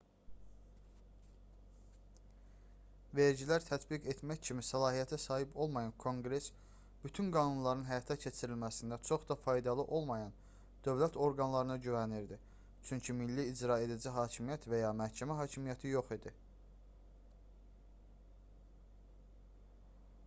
vergilər tətbiq etmək kimi səlahiyyətə sahib olmayan konqress bütün qanunların həyata keçirilməsində çox da faydalı olmayan dövlət orqanlarına güvənirdi çünki milli icraedici hakimiyyət və ya məhkəmə hakimiyyəti yox idi